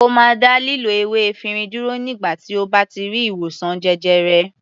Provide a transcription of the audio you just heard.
Ó máa dá lílo ewé efirin dúró nígbà tí ó bá ti rí ìwòsàn jẹjẹrẹ.